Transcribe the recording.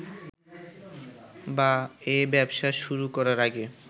বা এ ব্যবসা শুরু করার আগে